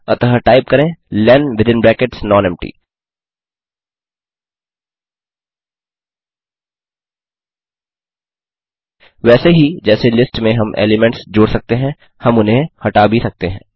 अतः टाइप करें len within brackets nonempty वैसे ही जैसे लिस्ट में हम एलीमेंट्स जोड़ सकते हैं हम उन्हें हटा भी सकते हैं